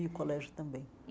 E o colégio também.